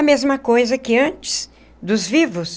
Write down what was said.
A mesma coisa que antes, dos vivos,